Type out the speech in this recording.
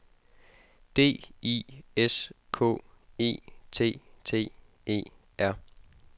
D I S K E T T E R